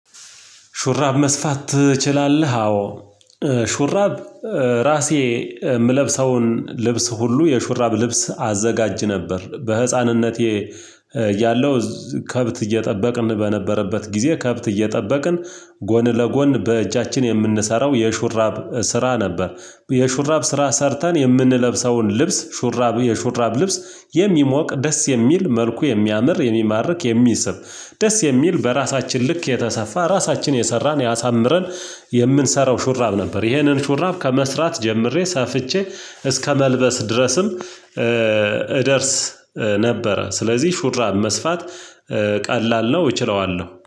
ሹራብ መስፋት ትችላለህ? አዎ ሹራብ ራሴ የምለብሰውን ልብስ ሁሉ የሹራብ ልብስ አዘጋጅ ነበር በህፃንነቴ ያለው ከብት እየጠበቅን በነበረበት ጊዜ ከብት እየጠበቅን ጎን ለጎን በእጃችን የምንሰራው የሹራብ ስራ ነበር። የሹራብ ስራ ሰርተን የምንለብሰውን ልብስ ሹራብ የሹራብ ልብስ የሚሞቅ ደስ የሚል መልኩ የሚያምር የሚማርክ የሚስብ ደስ የሚል በራሳችን ልክ የተሰፋ ራሳችን የሰራን ያሳምረን የምንሰራው ሹራብ ነበር። ይሄንን ሹራብ ከመስራት ጀምሬ ሰፍቼ እስከመልበስ ድረስም እደርስ ነበረ። ስለዚህ ሹራብ መስፋት ቀላል ነው እችለዋለሁ